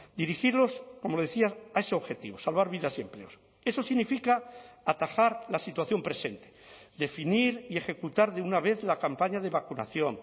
dirigirlos como decía a ese objetivo salvar vidas y empleos eso significa atajar la situación presente definir y ejecutar de una vez la campaña de vacunación